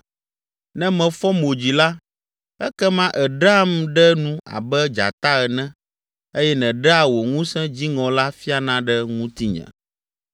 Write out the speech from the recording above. Ne mefɔ mo dzi la, ekema èɖeam ɖe nu abe dzata ene eye nèɖea wò ŋusẽ dziŋɔ la fiana ɖe ŋutinye.